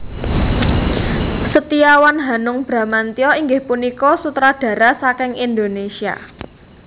Setiawan Hanung Bramantyo inggih punika sutradara saking Indonésia